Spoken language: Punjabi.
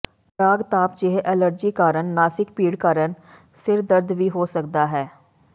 ਪਰਾਗ ਤਾਪ ਜਿਹੇ ਐਲਰਜੀ ਕਾਰਨ ਨਾਸਿਕ ਭੀੜ ਕਾਰਨ ਸਿਰ ਦਰਦ ਵੀ ਹੋ ਸਕਦਾ ਹੈ